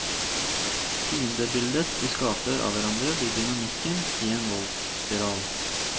Fiendebildet de skaper av hverandre blir dynamikken i en voldsspiral.